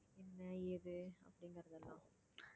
என்ன ஏது அப்படிங்கிறது எல்லாம்